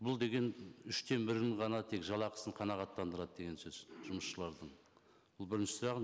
бұл деген үштен бірін ғана тек жалақысын қанағаттандырады деген сөз жұмысшылардың бұл бірінші сұрағым